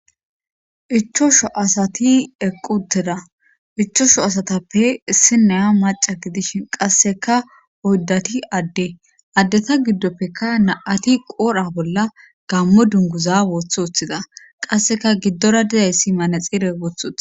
Ichosho asati equteda ichosho asatappe issi neya maca gidishin qasseka oyddati adde addeta giddoppekka na7ati qoorha bolla gammo dunguza wothothida qasseka giddora dizayssi manexire wothothi.